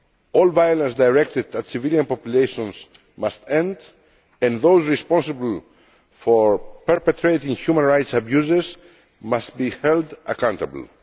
All violence directed at civilian populations must end, and those responsible for perpetrating human rights abuses must be held accountable.